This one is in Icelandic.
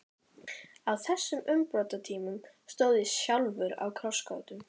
Á þessum umbrotatímum stóð ég sjálfur á krossgötum.